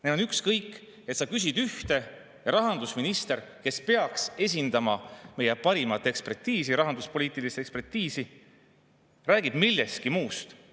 Neil on ükskõik, et sa küsid ühte, aga rahandusminister, kes peaks esindama meie parimat ekspertiisi, rahanduspoliitilist ekspertiisi, räägib millestki muust.